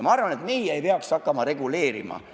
Ma arvan, et meie ei peaks hakkama seda reguleerima.